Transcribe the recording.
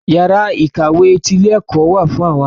Iyàrá ìkàwé ti ilé ẹ̀kọ́ wà fún àwọn akẹ́kọ̀ọ́.